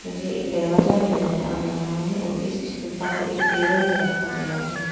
मुझे एक दरवाजा भी नजर आ रहा है और इस स्तूपा को एक टेबल में रखा गया है।